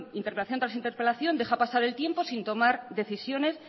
tras interpelación deja pasar el tiempo sin tomar decisiones